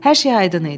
Hər şey aydın idi.